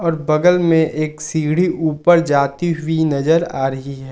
बगल में एक सीढ़ी ऊपर जाती हुई नजर आ रही है।